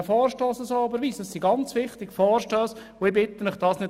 Deshalb müssen wir diesen Vorstoss so überweisen.